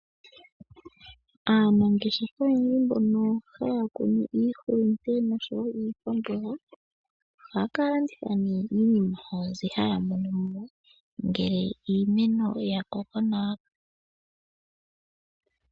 Aanangeshefa oyendji mbono haya kunu iihulunde oshowo iikwamboga ohaa ka landitha nee iinima yawo mbyoka haya mono mo, ngele iimeno yakoko nawa.